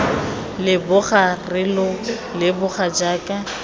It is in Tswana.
leboga re lo leboga jaaka